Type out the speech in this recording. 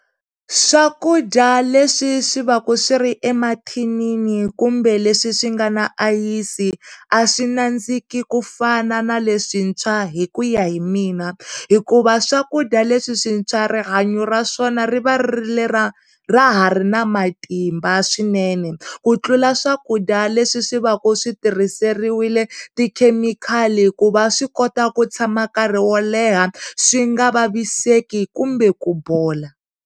Swakudya leswi swi va ku swi ri emathinini kumbe leswi swi nga na ayisi a swi nandziki kufana na leswintshwa hikuya hi mina hikuva swakudya leswi swintshwa rihanyo ra swona ri va ri ri lera ra hari na matimba swinene ku tlula swakudya leswi swi va ku switirhiseriwile ti khemikhali ku va swi kota ku tshama nkarhi wo leha swi nga vavisekile kumbe ku bola.